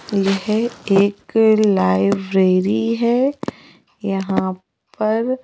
यह एक लाइब्रेरी है यहां पर--